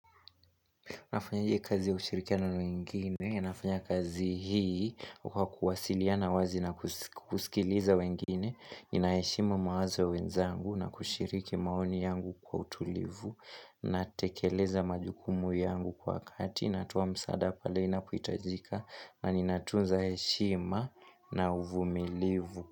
Nafanya kazi ya ushirikiano na wengine, nafanya kazi hii kwa kuwasiliana wazi na kusikiliza wengine, inayaheshima mawazo ya wenzangu na kushiriki maoni yangu kwa utulivu, na tekeleza majukumu yangu kwa wakati, natoa msaada pale inapohitajika na ninatunza heshima na uvumilivu.